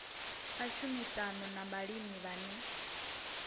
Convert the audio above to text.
a tshumisano na vhalimi vhane